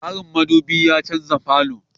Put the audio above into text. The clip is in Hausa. Tasirin Mudubi ya canza falo